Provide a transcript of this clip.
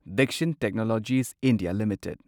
Dixon technologies India limited